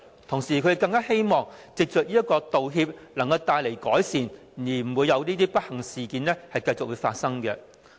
同時，他們更希望藉着道歉帶來改善，令這些不幸事件不會繼續發生。